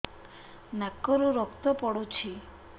ନାକରୁ ରକ୍ତ ପଡୁଛି